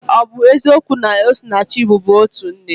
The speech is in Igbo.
Ọ bụ eziokwu na Osinachi bubu otu nne?